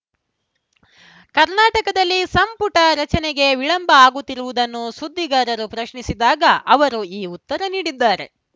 ಕರ್ನಾಟಕದಲ್ಲಿ ಸಂಪುಟ ರಚನೆಗೆ ವಿಳಂಬ ಆಗುತ್ತಿರುವುದನ್ನು ಸುದ್ದಿಗಾರರು ಪ್ರಶ್ನಿಸಿದಾಗ ಅವರು ಈ ಉತ್ತರ ನೀಡಿದ್ದಾರೆ